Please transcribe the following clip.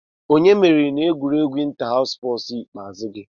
Onye meriri n'egwuregwu inta-haws ikpeazụ gị?